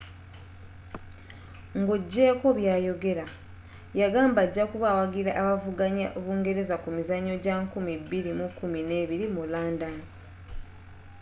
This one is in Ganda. nga ogyeko byayogera yagamba ajakuba awagira abavuganya bungereza ku mizanyo gya 2012 mu london